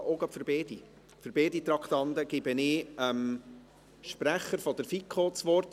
Ich erteile zu beiden Traktanden dem Sprecher der FiKo das Wort.